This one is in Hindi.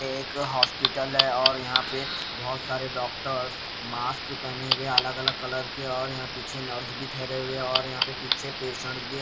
एक हॉस्पिटल है और यहाँ पे बहुत सारे डॉक्टर्स मास्क पहने हुए अलग-अलग कलर के और यहाँ पीछे नर्स भी ठहरे हुए हैं और यहाँ पे पीछे पेशेंट भी हैं--